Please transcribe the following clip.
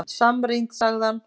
Samrýnd, sagði hann!